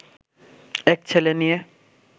এক ছেলে নিয়ে